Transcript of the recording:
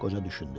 Qoca düşündü.